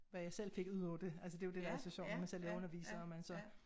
Hvad jeg selv fik udover det altså det jo det der er så sjovt når man selv er underviser og man så